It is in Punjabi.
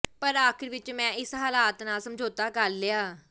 ਪਰ ਆਖ਼ਰ ਵਿੱਚ ਮੈਂ ਇਸ ਹਾਲਾਤ ਨਾਲ ਸਮਝੌਤਾ ਕਰ ਲਿਆ